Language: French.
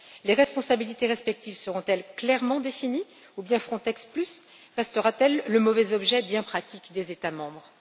Les responsabilités respectives seront elles clairement définies, ou bien Frontex Plus restera t elle le mauvais instrument bien pratique des États membres?